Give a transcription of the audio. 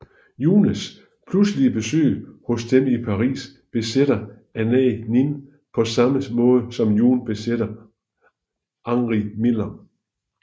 Junes pludselige besøg hos dem i Paris besætter Anaïs Nin på samme måde som June besætter Henry Miller